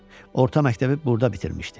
Orta məktəbi burada bitirmişdi.